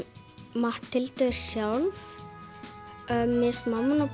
Matthildur sjálf mér finnst mamman